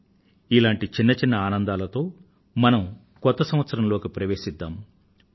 రండి ఇటువంటి చిన్న చిన్న ఆనందాలతో మనం కొత్త సంవత్సరంలోకి ప్రవేశిద్దాం